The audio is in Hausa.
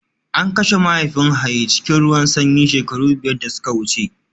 An kashe mahaifin Haye cikin ruwan sanyi shekaru biyar da suka wuce